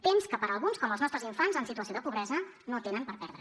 temps que alguns com els nostres infants en situació de pobresa no tenen per perdre